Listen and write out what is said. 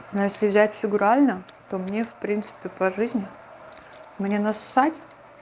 но если взять фигурально то мне в принципе по жизни мне нассать